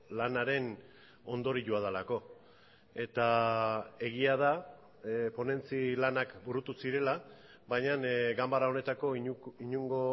lanaren ondorioa delako eta egia da ponentzi lanak burutu zirela baina ganbara honetako inongo